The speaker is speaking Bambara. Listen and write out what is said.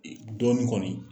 Dɔɔnin kɔni